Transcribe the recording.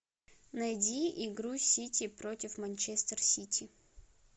найди игру сити против манчестер сити